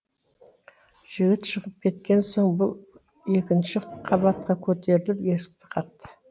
жігіт шығып кеткен соң бұл екінші қабатқа көтеріліп есікті қақты